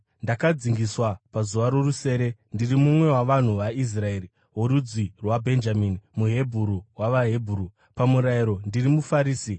ndakadzingiswa pazuva rorusere, ndiri mumwe wavanhu veIsraeri, worudzi rwaBhenjamini, muHebheru wavaHebheru; pamurayiro, ndiri muFarisi;